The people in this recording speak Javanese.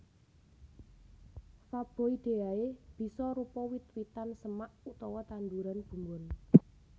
Faboideae bisa rupa wit witan semak utawa tanduran bumbon